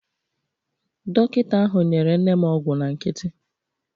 Dọkịta ahụ nyere nne m ọgwụ na nkịtị.